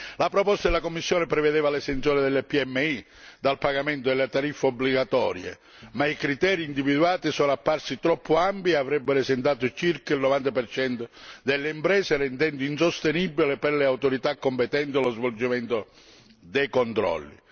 La proposta della Commissione prevedeva l'esenzione delle PMI dal pagamento delle tariffe obbligatorie, ma i criteri individuati sono apparsi troppo ampi e avrebbero esentato circa il 90 percento delle imprese, rendendo insostenibile per le autorità competenti lo svolgimento dei controlli.